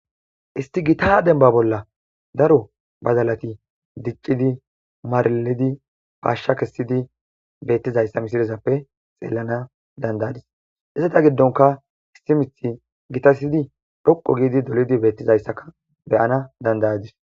Isti gita denba bolla daro bazalati diccidi maralidi paashsha kessidi beettizayssa misirezappe xeelana dandayadis isseta giddonka isti mith gitasyidi dhoqo giidi dolidi beettizayssaka beyana dandayadis.